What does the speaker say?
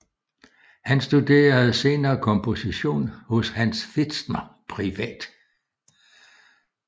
Han studerede senere komposition hos Hans Pfitzner privat